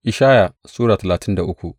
Ishaya Sura talatin da uku